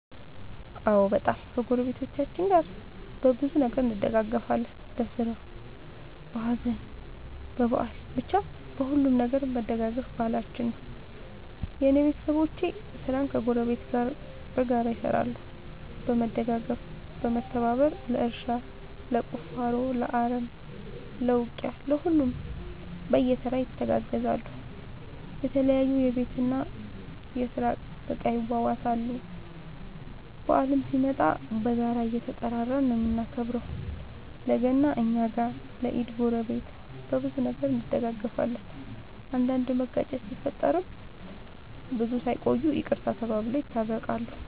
አዎ በጣም ከ ጎረቤቶቻችን ጋር በብዙ ነገር እንደጋገፋለን በስራ በሀዘን በበአል በቻ በሁሉም ነገር መደጋገፍ ባህላችን ነው። የእኔ ቤተሰቦቼ ስራን ከ ጎረቤት ጋር በጋራ ይሰራሉ በመደጋገፍ በመተባበር ለእርሻ ለቁፋሮ ለአረም ለ ውቂያ ለሁሉም በየተራ ይተጋገዛሉ የተለያዩ የቤት እና የስራ እቃ ይዋዋሳሉ። በአልም ሲመጣ በጋራ እየተጠራራን ነው የምናከብረው ለ ገና እኛ ጋ ለ ኢድ ጎረቤት። በብዙ ነገር እንደጋገፋለን። አንዳንድ መጋጨት ሲፈጠር ብዙም ሳይቆዩ ይቅርታ ተባብለው የታረቃሉ።